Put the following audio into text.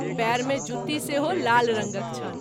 पैर मे जुती सेहो लाल रंगक छल।